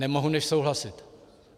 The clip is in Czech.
Nemohu než souhlasit.